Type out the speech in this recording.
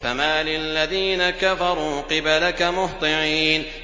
فَمَالِ الَّذِينَ كَفَرُوا قِبَلَكَ مُهْطِعِينَ